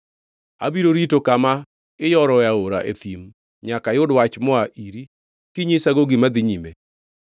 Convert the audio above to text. Abiro rito kama iyoroe aora e thim nyaka ayud wach moa iri kinyisago gima dhi nyime.